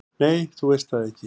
"""Nei, þú veist það ekki."""